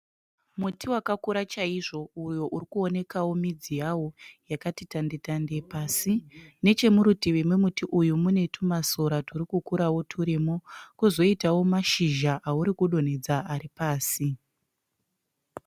Muti wakakura chaizvo uyo urikuonekawo midzi yawo yakati tande- tande pasi. Nechomurutivi memuti uyu mune tumasora turikukurawo turimo. Pozoitawo mashizha aurikudonhedza ari pasi.